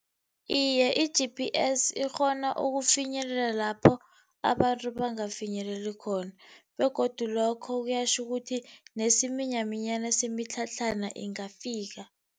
Iye, i-G_P_S ikghona ukufinyelela lapho abantu bangafinyeleli khona begodu lokho kuyatjho ukuthi nesiminyaminya semitlhatlhana ingafika.